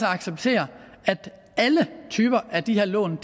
acceptere at alle typer af de her lån